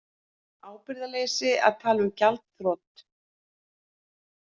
Ábyrgðarleysi að tala um gjaldþrot